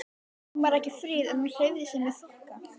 Hún var ekki fríð en hún hreyfði sig með þokka.